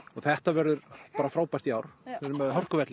þetta verður frábært í ár erum með